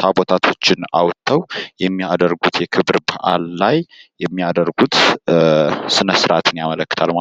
ታቦታቶችን አውጥተው የሚያደርጉት የክብረበአል ላይ የሚያደርጉት ስነስርዓትን ያመለክታል ማለት ነው።